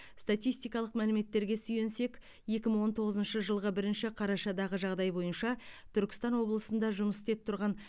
статистикалық мәліметтерге сүйенсек екі мың он тоғызыншы жылғы бірінші қарашадағы жағдай бойынша түркістан облысында жұмыс істеп тұрған